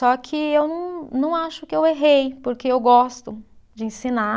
Só que eu não, não acho que eu errei, porque eu gosto de ensinar.